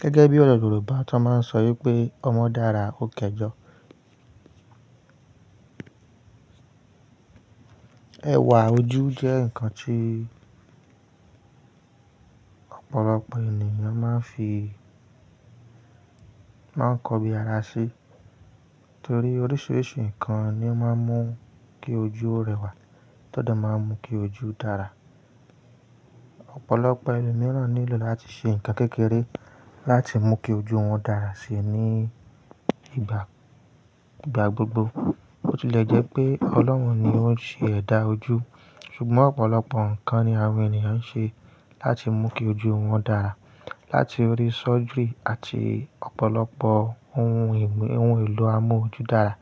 Gẹ́gẹ́ bí ọ̀rọ̀ Yorùbá tó máa ń sọ yí pé ọmọ dára ó dẹjọ. Ẹwà ojú jẹ́ nǹkan tí ọ̀pọ̀lọpọ̀ ènìyàn máa ń fi, máa ń kọ bi ara ṣi, torí oríṣiríṣi nǹkan ni ó máa ń mú kí ojú rẹwà, tọdà máa ń mú kí ojú dára. Ọ̀pọ̀lọpọ̀ ènìyàn nílò láti ṣe nǹkan kékeré láti mú kí ojú wọn dára síi ní ìgbà, ìgbà gbogbo. Bó tilẹ̀ jẹ́ pé Ọlọ́run ni ó ń ṣe ẹ̀dà ojú, ṣùgbọ́n ọ̀pọ̀lọpọ̀ nǹkan ni àwọn ènìyàn ń ṣe láti mú kí ojú wọn dára. Láti orí surgery àti ọ̀pọ̀lọpọ̀ ohun èlò amú ojú dára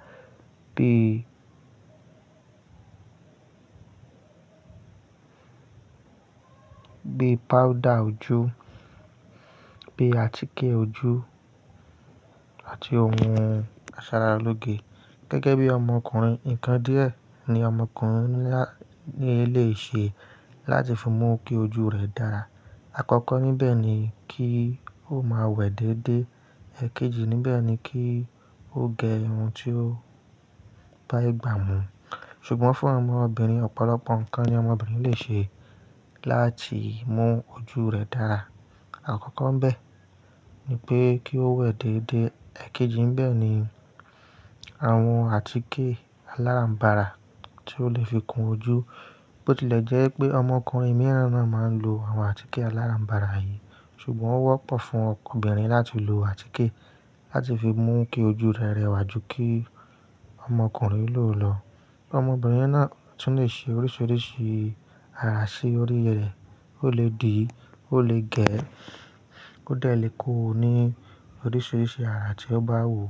bí, bí powder ojú, bí àtíkè ojú àti ohun asaralóge. Gẹ́gẹ́ bí ọmọkùnrin, nǹkan díẹ̀ ni ọmọkùnrin ní lati se láti fi mú kí ojú rẹ̀ dára. Àkọ́kọ́ níbẹ̀ ni kí ó máa wẹ̀ déédé. Ẹ̀kejí níbẹ̀ ni kí ó gẹ irun tí ó bá igbà mú. Ṣùgbọ́n fún ọmọbìnrin, ọ̀pọ̀lọpọ̀ nǹkan ni ọmọbìnrin lè ṣe láti mú ojú rẹ̀ dára. Àkọ́kọ́ bẹ́ẹ̀ ni pé kí ó wẹ̀ déédé. Ẹ̀kejí bẹ́ẹ̀ ni àwọn àtíkè aláràm̀barà tí ó lè fi kun ojú. Bó tilẹ̀ jẹ́ pé ọmọkùnrin mìíràn náà máa ń lo àwọn àtíkè aláràm̀barà yìí, ṣùgbọ́n ó wọ́pọ̀ fún ọkùnrin láti lo àtíkè láti fi mú kí ojú rẹ̀ rẹwà ju kí ọmọkùnrin lò lọ. Ọmọbìnrin náà tún lè ṣe oríṣiríṣi ara sí orí rẹ̀. Ó lè dì, ó lè gẹ̀, ó dẹ̀ le ko ní oríṣiríṣi ara tí ó bá wùú.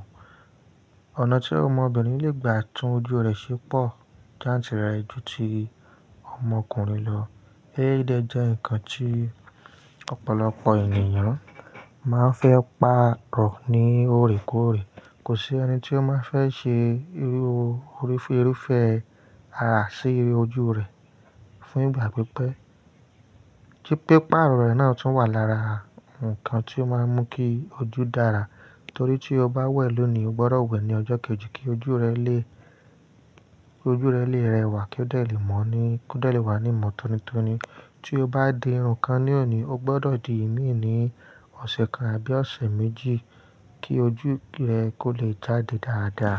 Ọ̀nà tí ọmọbìnrin lè gba tún ojú rẹ̀ ṣe pò ju ti ọmọkùnrin lọ. Hair dye jẹ́ nǹkan tí ọ̀pọ̀lọpọ̀ ènìyàn máa ń fẹ́ pàrọ̀ ní òrèkóòrè. Kò sí ẹni tí ó máa fẹ́ ṣe irú, orífèéfèé ara sí ojú rẹ̀ fún ìgbà pípẹ́. Atípé pàrọ̀ rẹ̀ náà tún wà lára nǹkan tí ó máa ń mú kí ojú dára. Nítorí tí o bá wẹ̀ lónìí, o gbọdọ̀ wẹ̀ ní ọjọ́ kejì kí ojú rẹ lè, kí ojú rẹ lè rẹwà kí ó lè dẹ̀ wà níìmọ̀ tónítóní. Tí o bá di irun kan ní òní, o gbọdọ̀ di ìmíì ní ọ̀sẹ̀ kan àbí ọ̀sẹ̀ méjì kí ojú rẹ kó lè jáde dáadáa.